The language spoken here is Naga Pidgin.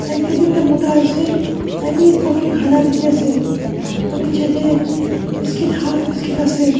side dae bi ekta mota asae tai bi coffee kala diki asae aro niche dae biscuit half biscuit asae.